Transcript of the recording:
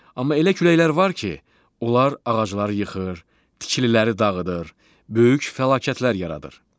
Amma elə küləklər var ki, onlar ağacları yıxır, tikililəri dağıdır, böyük fəlakətlər yaradır.